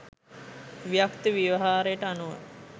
ව්‍යක්ත ව්‍යවහාරයට අනුව